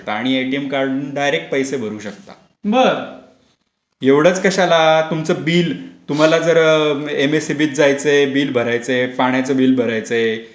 आणि ATM card वरून direct पैसे भरू शकता एवढेच कशाला तुमचं बिल तुम्हाला जर एम एस सी बी त जायचं आहे बिल भरायचा आहे पाण्याचा बिल भरायचय विजेचा बिल भरायचा आहे.